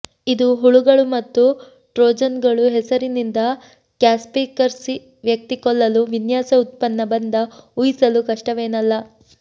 ಇದು ಹುಳುಗಳು ಮತ್ತು ಟ್ರೋಜನ್ಗಳು ಹೆಸರಿನಿಂದ ಕ್ಯಾಸ್ಪರ್ಸ್ಕಿ ವ್ಯಕ್ತಿ ಕೊಲ್ಲಲು ವಿನ್ಯಾಸ ಉತ್ಪನ್ನ ಬಂದ ಊಹಿಸಲು ಕಷ್ಟವೇನಲ್ಲ